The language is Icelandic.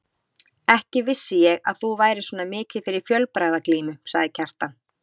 Ekki vissi ég að þú værir svona mikið fyrir fjölbragðaglímu, sagði Kjartan.